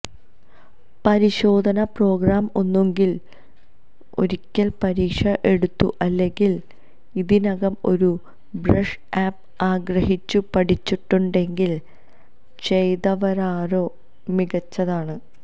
പരിശോധനാ പ്രോഗ്രാം ഒന്നുകിൽ ഒരിക്കൽ പരീക്ഷ എടുത്തു അല്ലെങ്കിൽ ഇതിനകം ഒരു ബ്രഷ് അപ് ആഗ്രഹിച്ചു പഠിച്ചിട്ടുണ്ടെങ്കിൽ ചെയ്തവരാരോ മികച്ചതാണ്